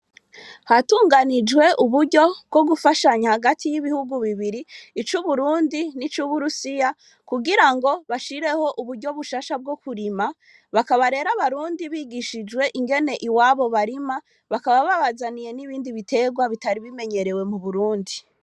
Hatunganijwe uburyo bwo gufashanya hagati y'ibihugu bibiri ic'Uburundi nic'Uburusiya kugira ngo bashireho uburyo bushasha bwo kurima, bakaba rero abarundi bigishijwe ingene iwabo barima, bakaba babazaniye n'ibindi biterwa bitari bimenyerewe mu Burundi.